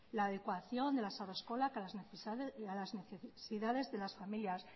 la adecuación de las haurreskolak a las necesidades de las familias